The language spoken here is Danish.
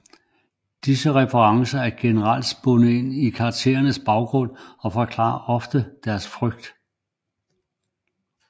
Disse referencer er generelt spundet ind i karakterernes baggrund og forklarer ofte deres frygt